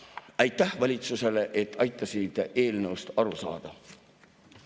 Aitäh valitsusele, et aitasite eelnõust aru saada!